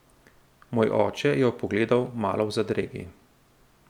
Moj oče jo je pogledal malo v zadregi.